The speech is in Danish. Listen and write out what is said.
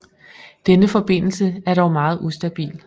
Denne forbindelse er dog meget ustabil